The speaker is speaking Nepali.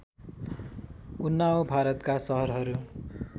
उन्नाव भारतका सहरहरू